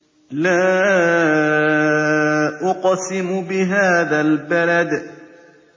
لَا أُقْسِمُ بِهَٰذَا الْبَلَدِ